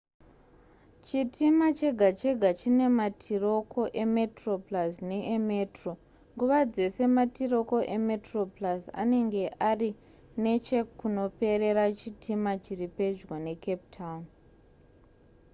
chitima chega chega chine matiroko emetroplus neemetro nguva dzese matiroko emetroplus anenge ari nechekunoperera chitima chiri pedyo necape town